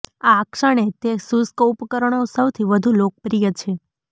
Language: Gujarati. આ ક્ષણે તે શુષ્ક ઉપકરણો સૌથી વધુ લોકપ્રિય છે